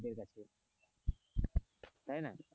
তাই না.